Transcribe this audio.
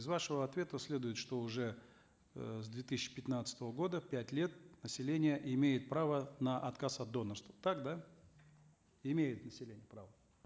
из вашего ответа следует что уже э с две тысячи пятнадцатого года пять лет население имеет право на отказ от донорства так да имеет население право